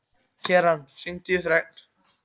Keran, hringdu í Fregn.